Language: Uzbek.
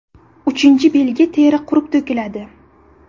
Uchinchi belgi teri qurib to‘kiladi.